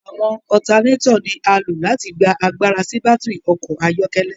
Awọn alternator ni a lo láti gbà àgbàrá sí batiri ọkọ ayọkẹlẹ